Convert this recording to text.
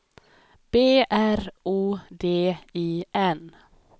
B R O D I N